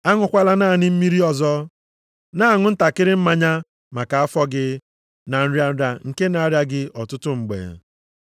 Aṅụkwala naanị mmiri ọzọ, na-aṅụ ntakịrị mmanya maka afọ gị na nrịa nrịa nke na-arịa gị ọtụtụ mgbe.